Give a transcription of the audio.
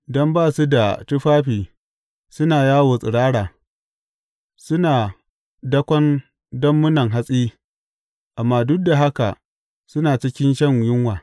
Don ba su da tufafi suna yawo tsirara; suna dakon dammunan hatsi amma duk da haka suna cikin shan yunwa.